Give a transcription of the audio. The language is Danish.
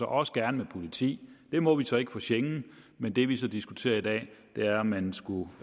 også gerne med politi det må vi så ikke for schengen men det vi så diskuterer i dag er om man skulle